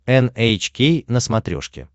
эн эйч кей на смотрешке